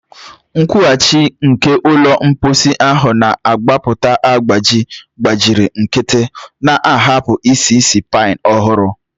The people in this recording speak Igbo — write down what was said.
Nkwughachi nke ụlọ mposi ahụ na-agbapụta agbaji gbachiri nkịtị, na-ahapụ isi ísì pine ọhụrụ.